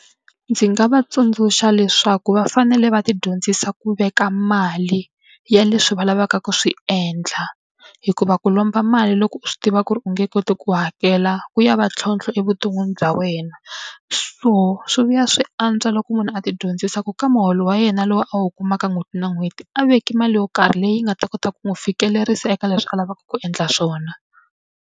Ndzi nga va tsundzuxa leswaku va fanele va tidyondzisa ku veka mali ya leswi va lavaka ku swi endla, hikuva ku lomba mali loko u swi tiva ku ri u nge koti ku hakela ku ya va ntlhontlho e vuton'wini bya wena. So swi vuya swi antswa loko munhu a tidyondzisa ku ka muholo wa yena lowu a wu kumaka n'hweti na n'hweti a veki mali yo karhi leyi nga ta kota ku n'wi fikelerisa eka leswi a lavaka ku endla swona.